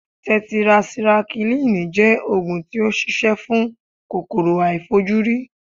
Tẹtirasikílìì jẹ́ Ògùn tí ó ṣi ṣẹ́ fún kòkòrò aàìfojúrí.